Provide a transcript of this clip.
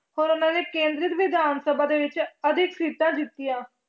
ਹੋਰ ਉਹਨਾਂ ਨੇ ਕੇਂਦਰੀ ਵਿਧਾਨ ਸਭਾ ਦੇ ਵਿੱਚ ਅਧਿਕ ਸੀਟਾਂ ਜਿੱਤੀਆਂ।